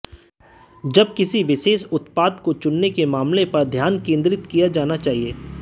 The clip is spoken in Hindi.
जब किसी विशेष उत्पाद को चुनने के मामले पर ध्यान केंद्रित किया जाना चाहिए